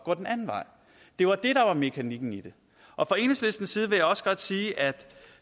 går den anden vej det var mekanikken i det fra enhedslistens side vil jeg også godt sige at